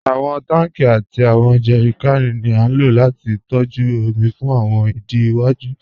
Awọn tanki àti awọn jẹrìkànì ni a ló láti tọ̀jú omi fún awọn ìdí iwaju.